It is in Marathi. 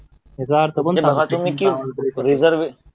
याचा अर्थ कोण सांगणार